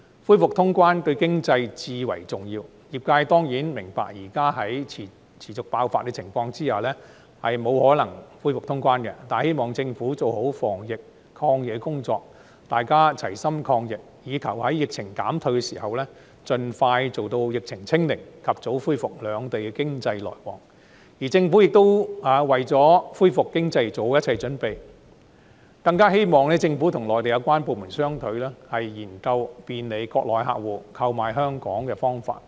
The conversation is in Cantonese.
恢復通關對經濟至為重要，業界當然明白現時在疫情持續爆發的情況下，不可能恢復通關，但希望政府做好防疫抗疫的工作，大家齊心抗疫，以求在疫情減退時，盡快做到疫情"清零"，及早恢復兩地的經濟來往；希望政府為了恢復經濟，做好一切準備；更希望政府與內地有關部門商討，研究便利國內客戶購買香港保險的方法。